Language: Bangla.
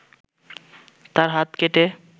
তার হাত কেটে